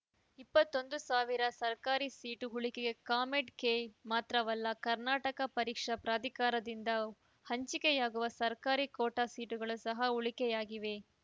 ಇಪ್ಪತ್ತೊಂದು ಸಾವಿರ ಸರ್ಕಾರಿ ಸೀಟು ಉಳಿಕೆ ಕಾಮೆಡ್‌ಕೆ ಮಾತ್ರವಲ್ಲ ಕರ್ನಾಟಕ ಪರೀಕ್ಷಾ ಪ್ರಾಧಿಕಾರದಿಂದ ಹಂಚಿಕೆಯಾಗುವ ಸರ್ಕಾರಿ ಕೋಟಾ ಸೀಟುಗಳು ಸಹ ಉಳಿಕೆಯಾಗಿವೆ